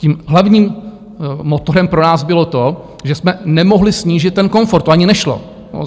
Tím hlavním motorem pro nás bylo to, že jsme nemohli snížit ten komfort, to ani nešlo.